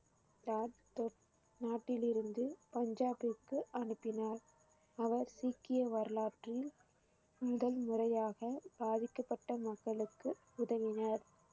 லாக்பூர் நாட்டிலிருந்து பஞ்சாபிற்க்கு அனுப்பினார் அவர் சீக்கிய வரலாற்றில் முதல் முறையாக பாதிக்கப்பட்ட மக்களுக்கு உதவினர்